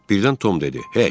Birdən Tom dedi.